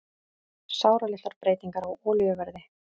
Sáralitlar breytingar á olíuverði